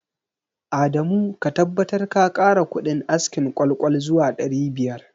Adamu ka tabbatar ka kara kudin askin ƙwal-ƙwal zuwa ɗari biyar